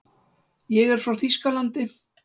Ég er frá Þýskalandi.